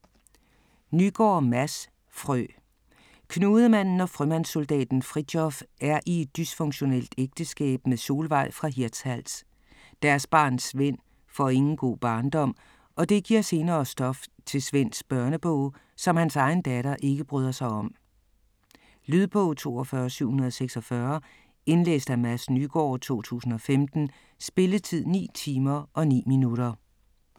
Nygaard, Mads: Frø Knudemanden og frømandssoldaten Fritjof er i et dysfunktionelt ægteskab med Solveig fra Hirtshals. Deres barn Svend får ingen god barndom, og det giver senere stof til Svends børnebog, som hans egen datter ikke bryder sig om. Lydbog 42746 Indlæst af Mads Nygaard, 2015. Spilletid: 9 timer, 9 minutter.